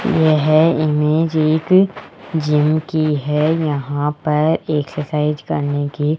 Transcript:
यह इमेज एक जिम की है यहां पर एक्सरसाइज करने की --